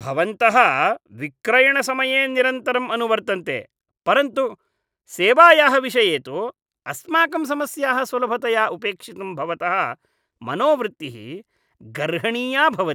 भवन्तः विक्रयणसमये निरन्तरम् अनुवर्तन्ते, परन्तु सेवायाः विषये तु अस्माकं समस्याः सुलभतया उपेक्षितुं भवतः मनोवृत्तिः गर्हणीया भवति।